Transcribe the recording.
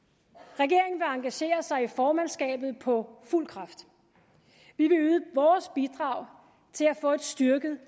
regeringen vil engagere sig i formandskabet på fuld kraft vi vil yde vores bidrag til at få et styrket